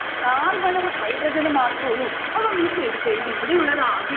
carbon ഉം hydrogen ഉം മാത്രുള്ളു. അപ്പം miss എടുത്തെഴുതി ഇവിടെയുള്ളത് ആകെ